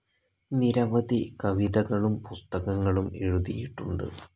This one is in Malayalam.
നിരവധി കവിതകളും പുസ്തകങ്ങളും എഴുതിയിട്ടുണ്ട്.